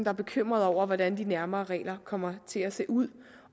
er bekymret over hvordan de nærmere regler kommer til at se ud